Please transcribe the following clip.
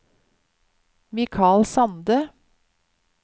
Mikal Sande